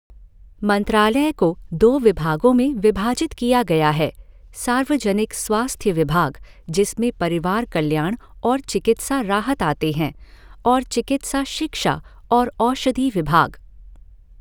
मंत्रालय को दो विभागों में विभाजित किया गया हैः सार्वजनिक स्वास्थ्य विभाग, जिसमें परिवार कल्याण और चिकित्सा राहत आते हैं, और चिकित्सा शिक्षा और औषधि विभाग।